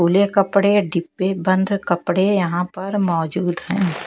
गोले कपड़े डिब्बे बंद कपड़े यहाँ पर मौजूद हैं ।